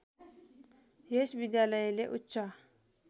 यस विद्यालयले उच्च